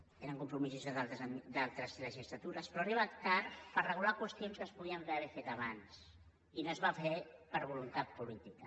tenen compromisos d’altres legislatures però arriba tard per regular qüestions que es podien haver fet abans i no es va fer per voluntat política